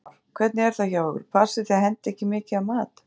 Heimir Már: Hvernig er það hjá ykkur, passið þið að henda ekki mikið af mat?